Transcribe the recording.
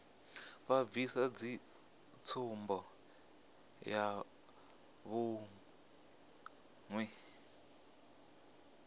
vha bvisa ndi tsumbo yavhuḓi